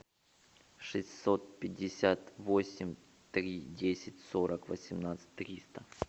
шестьсот пятьдесят восемь три десять сорок восемнадцать триста